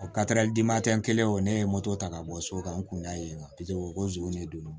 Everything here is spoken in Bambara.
O dimantɛ n kɛlen o ne ye moto ta ka bɔ so kan n kun da yen nɔ ko zon de don no